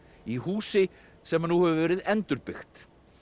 í húsi sem nú hefur verið endurbyggt